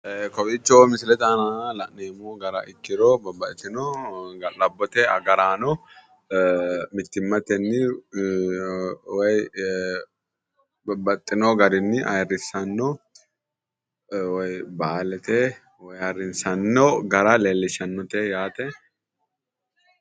Kowiicho misilete aana la'neemo gara ikkiro babbaxxtino ga'labbote agaraano mittimatenni woyi babbaxxino garinni ayiirissano woyi baalate ayiirissannino gara leellishshanno yaate.